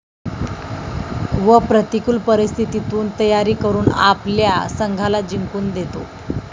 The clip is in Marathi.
व प्रतिकूल परिस्थितीतून तयारी करून आपल्या संघाला जिंकून देतो.